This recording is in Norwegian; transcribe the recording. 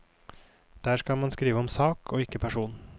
Der skal man skrive om sak og ikke person.